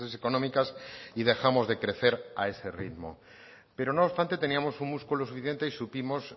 económicas y dejamos de crecer a ese ritmo pero no obstante teníamos un músculo suficiente y supimos